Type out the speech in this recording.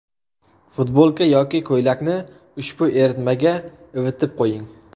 Futbolka yoki ko‘ylakni ushbu eritmaga ivitib qo‘ying.